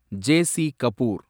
J.C.. Kapoor